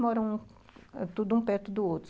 Moram tudo um perto do outro.